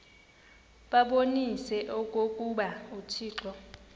babonise okokuba uthixo